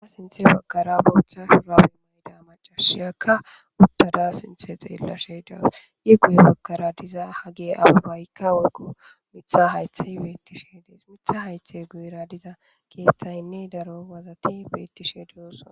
Sinththe baggara boththa shurabbe mayida maccasiyakka uttada sinthe xeelashe de'awus i guye baggara dizza haggeyi abebayika woyikko miththa hayitheyi bettishe deesi miththa haythe guyera dizza keththayinne daro wazzati bettishe de'ossona.